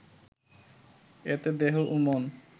এতে দেহ ও মন